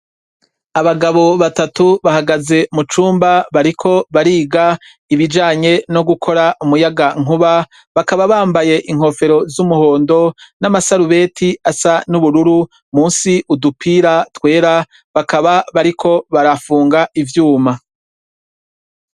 Abagabo batatu bahagaze mu cumba bariko bariga ibijanye no gukora umuyaga nkuba bakaba bambaye inkofero z'umuhondo n'amasarubeti asa n'ubururu musi udupira twera bakaba bariko barafunga ivyuma.